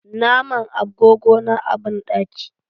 Na man agogona a banɗaki.